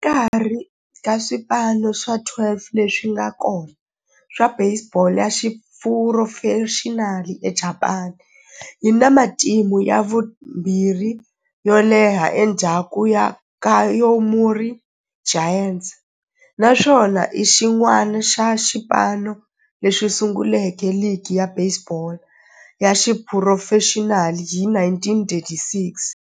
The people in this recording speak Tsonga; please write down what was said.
Exikarhi ka swipano swa 12 leswi nga kona swa baseball ya xiphurofexinali eJapani, yi na matimu ya vumbirhi yo leha endzhaku ka Yomiuri Giants, naswona i xin'wana xa swipano leswi sunguleke ligi ya baseball ya xiphurofexinali hi 1936.